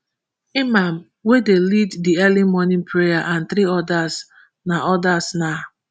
imam wey dey lead di early morning prayer and three odas na odas na